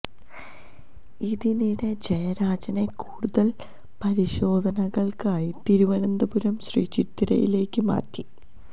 ഇതിനിടെ ജയരാജനെ കൂടുതൽ പരിശോധനകൾക്കായി തിരുവനന്തപുരം ശ്രീ ചിത്രയിലേക്ക് മാറ്റി